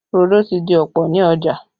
Rodo ti di ọ̀pọ̀ ní ọjà